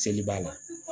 Seli b'a la